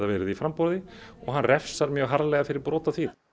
verið í framboði og hann refsar mjög harðlega fyrir brot á því